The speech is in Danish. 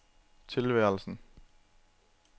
tilværelsen